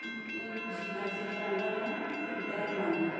यी एक झील क सी जन लगणा कि कुई डैम बणी यख।